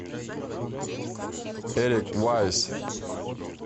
эрик вайс